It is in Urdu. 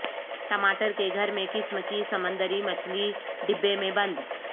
ٹماٹر کے گھر میں قسم کی سمندری مچھلی ڈبے میں بند